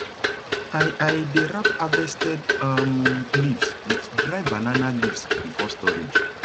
i i dey wrap harvested um leaves with dry banana leaves before storage